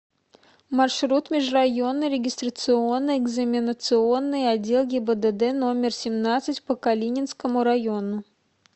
маршрут межрайонный регистрационно экзаменационный отдел гибдд номер семнадцать по калининскому району